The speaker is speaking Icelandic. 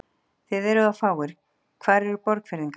Þið eruð of fáir, hvar eru Borgfirðingarnir?